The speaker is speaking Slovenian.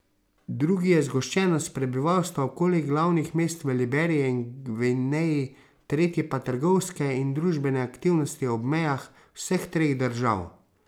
Drugi je zgoščenost prebivalstva okoli glavnih mest v Liberiji in Gvineji, tretji pa trgovske in družbene aktivnosti ob mejah vseh treh držav.